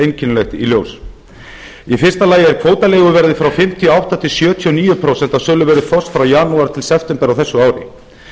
einkennilegt í ljós í fyrsta lagi er kvótaleiguverðið frá fimmtíu og átta til sjötíu og níu prósent á söluverði þorsks frá janúar til september á þessu ári